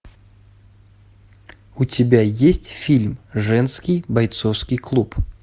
у тебя есть фильм женский бойцовский клуб